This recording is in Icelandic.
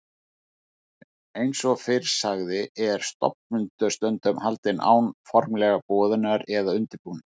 Eins og fyrr sagði er stofnfundur stundum haldinn án formlegrar boðunar eða undirbúnings.